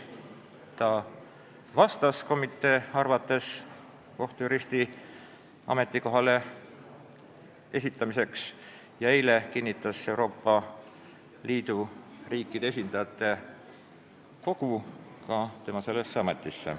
Ta vastas komitee arvates kohtujuristi ametikoha nõudmistele ja eile kinnitas Euroopa Liidu riikide esindajate kogu ta sellesse ametisse.